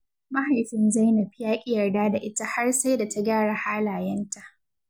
Mahaifin Zainab ya ƙi yarda da ita har sai da ta gyara halayenta.